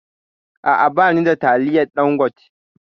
A'a, ba ni da taliyan Ɗangote.